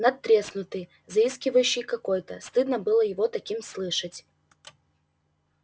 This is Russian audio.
надтреснутый заискивающий какой-то стыдно было его таким слышать